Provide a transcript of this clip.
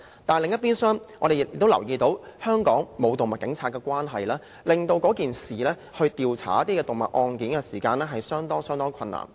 但另一邊廂，我們亦留意到，因香港沒有動物警察，而令調查案件時遇上相當的困難。